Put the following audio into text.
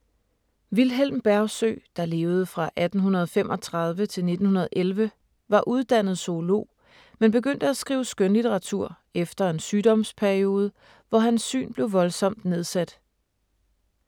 Vilhelm Bergsøe, der levede fra 1835 til 1911, var uddannet zoolog, men begyndte at skrive skønlitteratur efter en sygdomsperiode, hvor hans syn blev voldsomt nedsat.